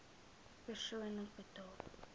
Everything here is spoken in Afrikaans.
persoonlik betaal